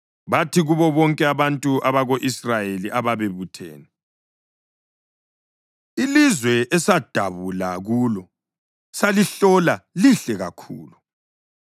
bathi kubo bonke abako-Israyeli ababebuthene, “Ilizwe esadabula kulo salihlola lihle kakhulu.